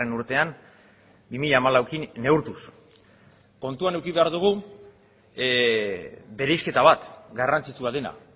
urtean bi mila hamalaukin neurtuz kontuan eduki behar dugu bereizketa bat garrantzitsua dena